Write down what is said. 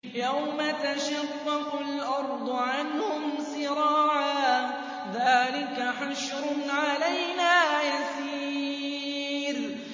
يَوْمَ تَشَقَّقُ الْأَرْضُ عَنْهُمْ سِرَاعًا ۚ ذَٰلِكَ حَشْرٌ عَلَيْنَا يَسِيرٌ